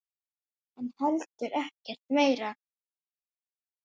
En heldur ekkert meira.